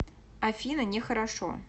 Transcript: афина не хорошо